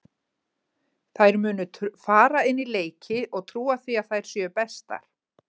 Þær munu fara inn í leiki og trúa því að þær séu bestar.